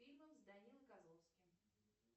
фильмы с данилой козловским